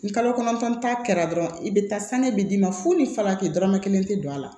Ni kalo kɔnɔntɔn ta kɛra dɔrɔn i bɛ taa sani bɛ d'i ma fo ni farati dɔrɔmɛ kelen tɛ don a la